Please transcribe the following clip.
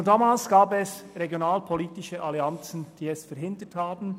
Schon damals gab es regionalpolitische Allianzen, die dies verhinderten.